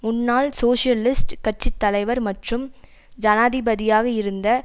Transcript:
முன்னாள் சோசியலிஸ்ட் கட்சி தலைவர் மற்றும் ஜனாதிபதியாக இருந்த